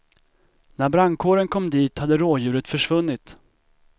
När brandkåren kom dit hade rådjuret försvunnit.